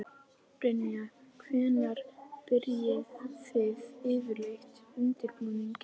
Brynja: Hvenær byrjið þið yfirleitt undirbúninginn?